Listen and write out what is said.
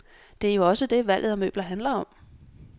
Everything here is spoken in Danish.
Det er jo også det, valget af møbler handler om.